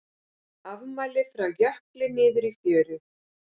Afmæli frá jökli niður í fjöru